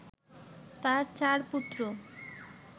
তার চার পুত্র